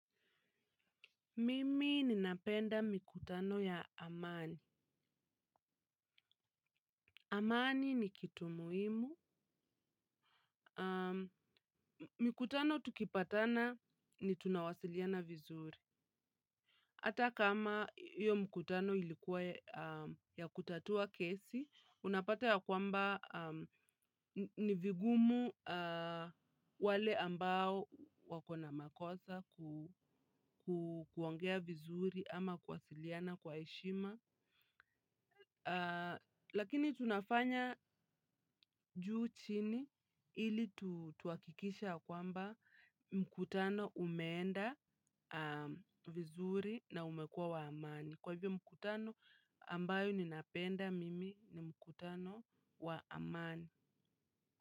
Mimi ninapenda mikutano ya amani. Amani ni kitu muhimu. Mkutano tukipatana ni tunawasiliana vizuri. Ata kama hiyo mkutano ilikuwa ya kutatua kesi, unapata ya kwamba ni vigumu wale ambao wako na makosa kuongea vizuri ama kuwasiliana kwa heshima. Lakini tunafanya juu chini ili tuhakikisha kwamba mkutano umeenda vizuri na umekua wa amani. Kwa hivyo mkutano ambayo ninapenda mimi ni mkutano wa amani.